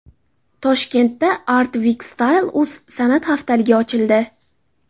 Toshkentda Art Week Style.uz san’at haftaligi ochildi.